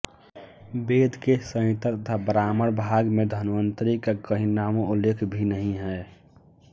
वेद के संहिता तथा ब्राह्मण भाग में धन्वंतरि का कहीं नामोल्लेख भी नहीं है